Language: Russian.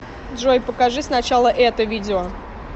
джой покажи сначала это видео